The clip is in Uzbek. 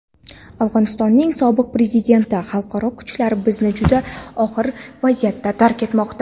Afg‘onistonning sobiq prezidenti: xalqaro kuchlar bizni juda og‘ir vaziyatda tark etmoqda.